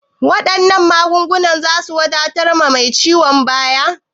Wannan magungunan zasu wadatar ma ciwon bayan?